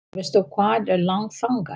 Veistu hvað er langt þangað?